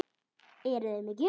Eruði með gjöf?